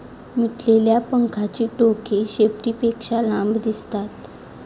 मिटलेल्या पंखांची टोके शेपटीपेक्षा लांब दिसतात.